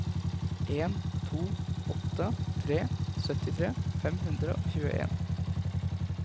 en to åtte tre syttitre fem hundre og tjueen